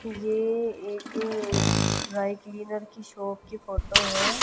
ये एक dry cleaner की शाॅप की फोटो है।